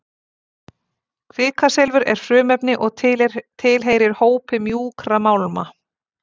Kvikasilfur er frumefni og tilheyrir hópi mjúkra málma.